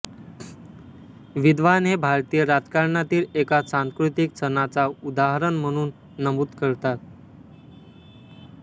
विद्वान हे भारतीय राजकारणातील एका सांस्कृतिक सणाचा उदाहरण म्हणून नमूद करतात